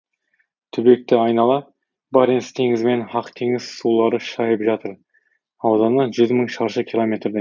түбекті айнала баренц теңізі мен ақ теңіз сулары шайып жатыр ауданы жүз мың шаршы километрдей